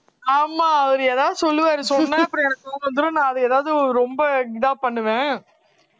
ஆமா அவரு ஏதாவது சொல்லுவாரு சொன்னா அப்புறம் எனக்கு அதை எதாவது ரொம்ப இதா பண்ணுவேன்